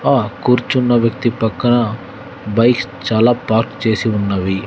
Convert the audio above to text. ఆ కూర్చున్న వ్యక్తి పక్కన బైక్స్ చాలా పార్క్ చేసి ఉన్నవి.